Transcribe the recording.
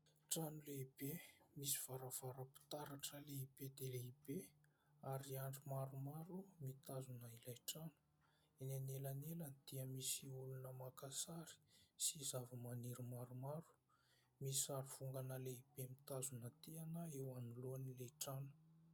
Trano lehibe misy varavaram-pitaratra lehibe dia lehibe ary andry maromaro mitazona ilay trano; eny anelanelany dia misy olona maka sary sy zava-maniry maromaro. Misy sary vongana lehibe mitazona tehana eo anoloan'ilay trano.